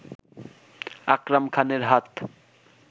আকরাম খানের হাত